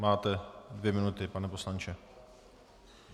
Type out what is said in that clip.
Máte dvě minuty, pane poslanče.